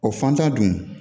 O fan fɛn dun